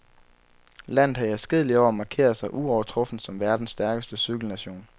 Landet har i adskillige år markeret sig uovertruffent som verdens stærkeste cykelnation.